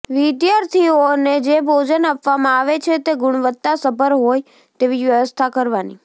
વિદ્યાર્થીઓને જે ભોજન આપવામાં આવે છે તે ગુણવત્તા સભર હોય તેવી વ્યવસ્થા કરવાની